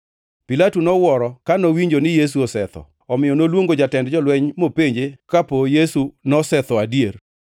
Pilato nowuoro ka nowinjo ni Yesu osetho, omiyo noluongo jatend jolweny mopenje kapo Yesu nosetho adier.